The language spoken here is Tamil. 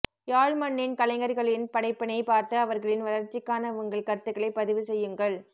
யாழ் மண்ணின் கலைஞர்களின் படைப்பினை பார்த்து அவர்களின் வளர்ச்சிக்கான உங்கள் கருத்துக்களை பதிவு செயுங்கள்